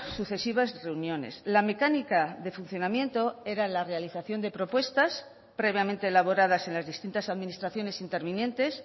sucesivas reuniones la mecánica de funcionamiento era la realización de propuestas previamente elaboradas en las distintas administraciones intervinientes